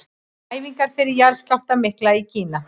Æfingar fyrir jarðskjálftann mikla í Kína.